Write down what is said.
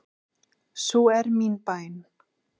Sú er mín bæn.